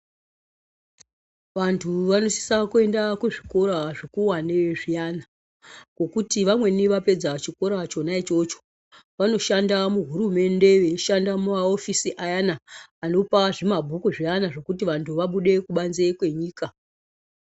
Vanthu vanosisa kuenda kuzvikora zvikuwane zviyana ngekuti vamweni vapedza chikora chona ichocho vanoshanda muhurumende veishanda mumaofisi ayana anopa zvimabhuku zviyana zvokuti vanthu vabude kubanze kwenyika.